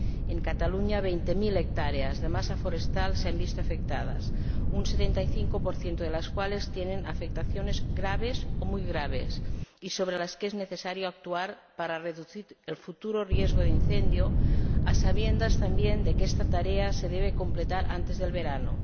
En Cataluña, veinte mil hectáreas de masa forestal se han visto afectadas, un 75 de las cuales tiene afectaciones graves o muy graves, sobre las que es necesario actuar para reducir el futuro riesgo de incendio, a sabiendas también de que esta tarea se debe completar antes del verano.